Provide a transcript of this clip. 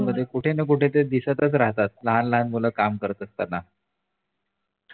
कुठे न कुठे ते दिसतच राहतात लहान लहान मुलं काम करत असताना